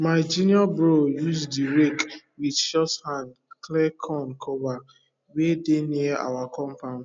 ma junior bro use the rake with short hand clear corn cover wey dey near our compound